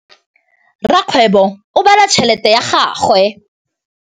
Rakgwêbô o bala tšheletê ya gagwe.